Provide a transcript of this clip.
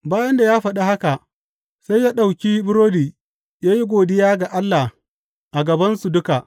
Bayan da ya faɗi haka, sai ya ɗauki burodi ya yi godiya ga Allah a gabansu duka.